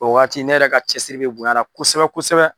O waati ne yɛrɛ ka cɛsiri bɛ bonya a la kosɛbɛ kosɛbɛ.